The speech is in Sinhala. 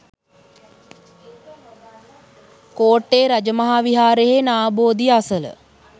කෝට්ටේ රජ මහා විහාරයෙහි නා බෝධිය අසල